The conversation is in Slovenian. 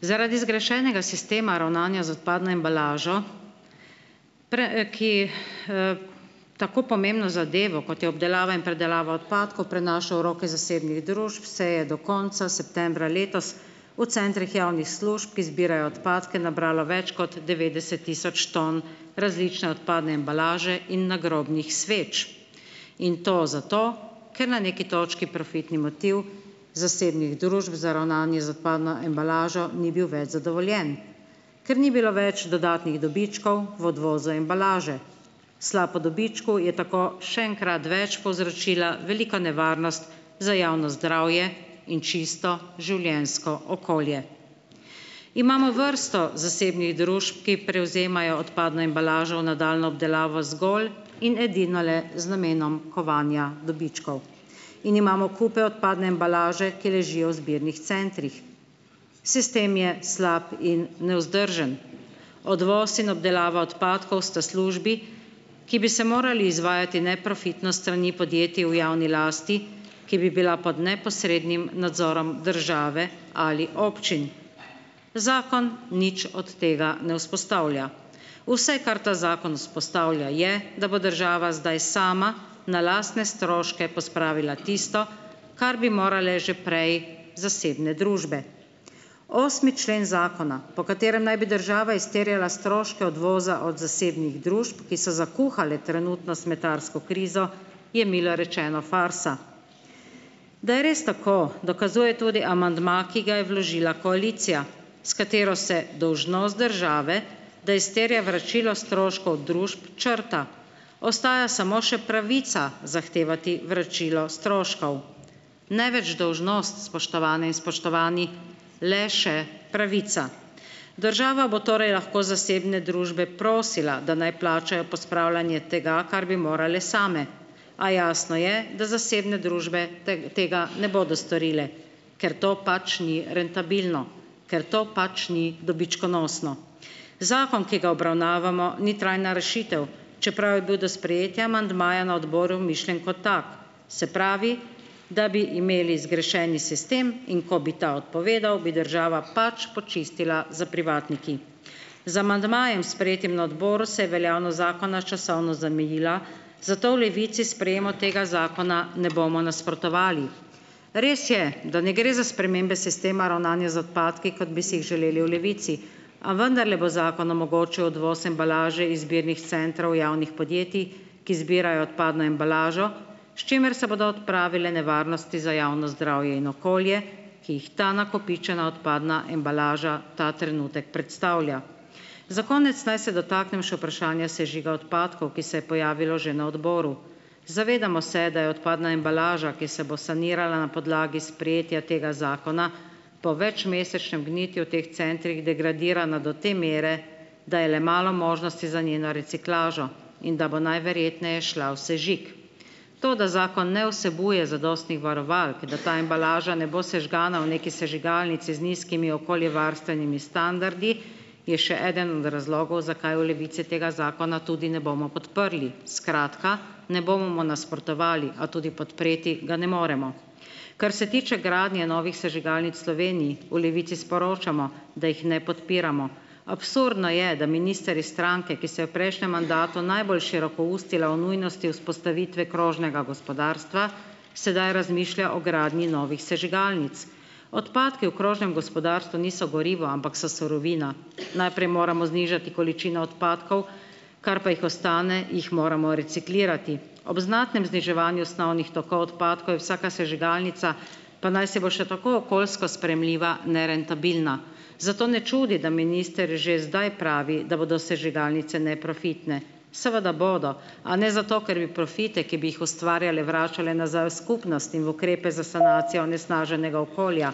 Zaradi zgrešenega sistema ravnanja z odpadno embalažo, tako pomembno zadevo, kot je obdelava in predelava odpadkov, prenaša v roke zasebnih družb, se je do konca septembra letos v centrih javnih služb, ki zbirajo odpadke, nabralo več kot devetdeset tisoč ton različne odpadne embalaže in nagrobnih sveč. In to zato, ker na neki točki profitni motiv zasebnih družb za ravnanje z odpadno embalažo ni bil več zadovoljen, ker ni bilo več dodatnih dobičkov v odvozu embalaže. Sla po dobičku je tako še enkrat več povzročila veliko nevarnost za javno zdravje in čisto življenjsko okolje. Imamo vrsto zasebnih družb, ki prevzemajo odpadno embalažo v nadaljnjo obdelavo zgolj in edino le z namenom kovanja dobičkov in imamo kupe odpadne embalaže, ki ležijo v zbirnih centrih. Sistem je slab in nevzdržen. Odvoz in obdelava odpadkov sta službi, ki bi se morali izvajati neprofitno s strani podjetij v javni lasti, ki bi bila pod neposrednim nadzorom države ali občin. Zakon nič od tega ne vzpostavlja. Vse, kar ta zakon vzpostavlja, je, da bo država zdaj sama na lastne stroške pospravila tisto, kar bi morale že prej zasebne družbe. Osmi člen zakona, po katerem naj bi država izterjala stroške odvoza od zasebnih družb, ki so zakuhale trenutno smetarsko krizo, je milo rečeno farsa. Da je res tako, dokazuje tudi amandma, ki ga je vložila koalicija, s katero se dolžnost države, da izterja vračilo stroškov družb, črta. Ostaja samo še pravica zahtevati vračilo stroškov, ne več dolžnost, spoštovane in spoštovani, le še pravica. Država bo torej lahko zasebne družbe prosila, da naj plačajo pospravljanje tega, kar bi morale same, a jasno je, da zasebne družbe tega ne bodo storile, ker to pač ni rentabilno, ker to pač ni dobičkonosno. Zakon, ki ga obravnavamo, ni trajna rešitev, čeprav je bil do sprejetja amandmaja na odboru mišljen kot tak. Se pravi, da bi imeli zgrešeni sistem, in ko bi ta odpovedal, bi država pač počistila s privatniki. Z amandmajem, sprejetim na odboru, se je veljavnost zakona časovno zamejila, zato v Levici sprejemu tega zakona ne bomo nasprotovali. Res je, da ne gre za spremembe sistema ravnanja z odpadki, kot bi si jih želeli v Levici, a vendarle bo zakon omogočil odvoz embalaže iz zbirnih centrov javnih podjetij, ki zbirajo odpadno embalažo, s čimer se bodo odpravile nevarnosti za javno zdravje in okolje, ki jih ta nakopičena odpadna embalaža ta trenutek predstavlja. Za konec naj se dotaknem še vprašanja sežiga odpadkov, ki se je pojavilo že na odboru. Zavedamo se, da je odpadna embalaža, ki se bo sanirala na podlagi sprejetja tega zakona, po večmesečnem gnitju v teh centrih degradirana do te mere, da je le malo možnosti za njeno reciklažo in da bo najverjetneje šla v sežig. To, da zakon ne vsebuje zadostnih varovalk, da ta embalaža ne bo sežgana v neki sežigalnici z nizkimi okoljevarstvenimi standardi, je še eden od razlogov, zakaj v Levici tega zakona tudi ne bomo podprli. Skratka, ne bomo mu nasprotovali, a tudi podpreti ga ne moremo. Kar se tiče gradnje novih sežigalnic Sloveniji, v Levici sporočamo, da jih ne podpiramo. Absurdno je, da minister iz stranke, ki se je v prejšnjem mandatu najbolj širokoustila o nujnosti vzpostavitve krožnega gospodarstva, sedaj razmišlja o gradnji novih sežigalnic. Odpadki v krožnem gospodarstvu niso gorivo, ampak so surovina. Najprej moramo znižati količino odpadkov, kar pa jih ostane, jih moramo reciklirati. Ob znatnem zniževanju snovnih tokov odpadkov je vsaka sežigalnica, pa najsi bo še tako okoljsko sprejemljiva, nerentabilna. Zato ne čudi, da minister že zdaj pravi, da bodo sežigalnice neprofitne. Seveda bodo, a ne zato, ker bi profite, ki bi jih ustvarjale, vračale nazaj v skupnost in v ukrepe za sanacijo onesnaženega okolja.